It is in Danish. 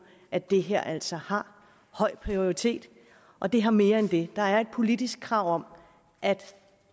at det her altså har høj prioritet og det har mere end det der er et politisk krav om at